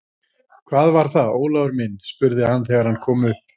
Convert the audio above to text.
Hvað var það, Ólafur minn? spurði hann þegar hann kom upp.